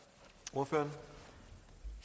ordføreren